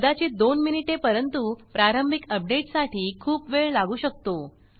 कदाचित दोन मिनिटे परंतु प्रारंभिक अपडेट साठी खूप वेळ लागू शकतो